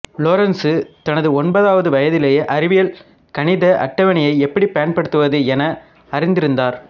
Lorentz தனது ஒன்பதாவது வயதிலேயே அறிவியல் கணித அட்டவணையை எப்படிப் பயன்படுத்துவது என அறிந்திருந்தார்